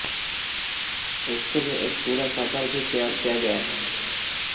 इसके लिए एक पूरा सर्वर भी तैयार किया गया है